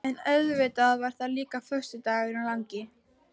En auðvitað var það líka föstudagurinn langi.